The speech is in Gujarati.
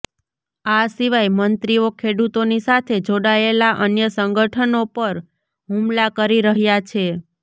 આ સિવાય મંત્રીઓ ખેડૂતોની સાથે જોડાયેલા અન્ય સંગઠનો પર હુમલા કરી રહ્યા છે